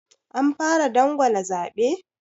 Anfara dangwala zaɓe?